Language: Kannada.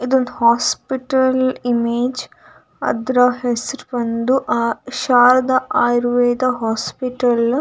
ಇದೊಂದು ಹಾಸ್ಪಿಟಲ್‌ ಇಮೇಜ್‌ . ಅದ್ರ ಹೆಸ್ರ್ ಬಂದು ಆ ಶಾರದ ಆಯುರ್ವೇದ ಹಾಸ್ಪಿಟಲ್ .